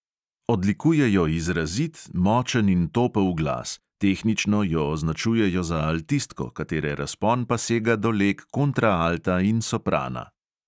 Odlikuje jo izrazit, močen in topel glas; tehnično jo označujejo za altistko, katere razpon pa sega do leg kontraalta in soprana.